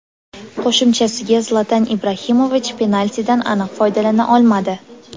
Qo‘shimchasiga, Zlatan Ibrahimovich penaltidan aniq foydalana olmadi.